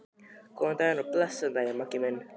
Góðan og blessaðan daginn, Maggi minn.